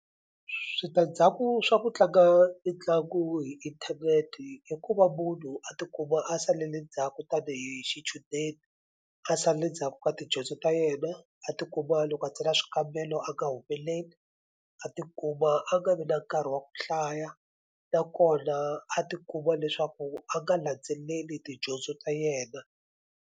Switandzhaku swa ku tlanga mitlangu hi inthanete i ku va munhu a tikuma a salele ndzhaku tanihi xichudeni a salele ndzhaku ka tidyondzo ta yena a ti kuma loko a tsala swikambelo a nga humeleli a tikuma a nga vi na nkarhi wa ku hlaya nakona a ti kuma leswaku a nga landzeleli tidyondzo ta yena.